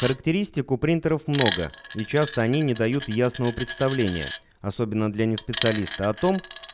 характеристику принтеров много и часто они не дают ясного представления особенно для не специалиста о том